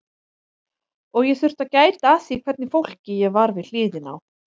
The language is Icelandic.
Og ég þurfti að gæta að því hvernig fólki ég var við hliðina á.